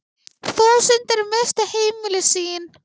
Þúsundir misstu heimili sín.